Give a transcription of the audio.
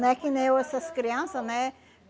Não é que nem eu, essas crianças, né?